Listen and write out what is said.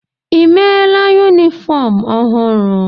Ị mela yunifọọm ọhụrụ?